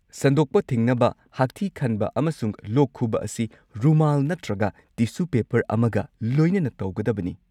ꯁꯟꯗꯣꯛꯄ ꯊꯤꯡꯅꯕ, ꯍꯥꯛꯊꯤ ꯈꯟꯕ ꯑꯃꯁꯨꯡ ꯂꯣꯛ ꯈꯨꯕ ꯑꯁꯤ ꯔꯨꯃꯥꯜ ꯅꯠꯇ꯭ꯔꯒ ꯇꯤꯁꯨ ꯄꯦꯄꯔ ꯑꯃꯒ ꯂꯣꯏꯅꯅ ꯇꯧꯒꯗꯕꯅꯤ꯫